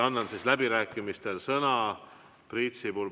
Annan läbirääkimisteks sõna Priit Sibulale.